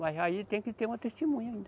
Mas aí tem que ter uma testemunha ainda.